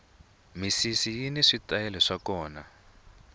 misisi yini switayele swa kona